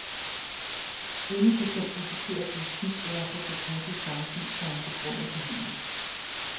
Ingen patient risikerer at blive snydt eller at få forpasset chancen for en begrundet behandling.